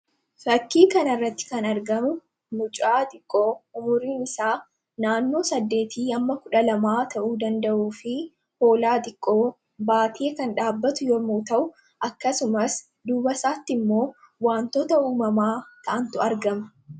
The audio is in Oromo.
fakkii kan irratti kan argamu mucaa xiqqoo umuriin isaa naannoo 8100 ta'uu danda'uu fi hoolaa xiqqoo baatiee kan dhaabatu yommu ta'u akkasumas duba isaatti immoo wantoota uumamaa taantu argama